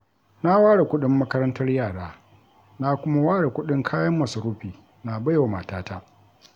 Na ware kuɗin makarantar yara, na kuma ware kuɗin kayan masarufi na baiwa matata.